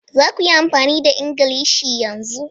Za ku yi amfani da Ingilishi yanzu!